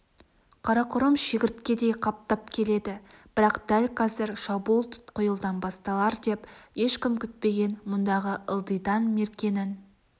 қарақұрым шегірткедей қаптап келеді бірақ дәл қазір шабуыл тұтқиылдан басталар деп ешкім күтпеген мұндағы ылдидан меркенің